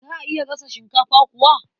Za a iya gasa shinkafa kuwa?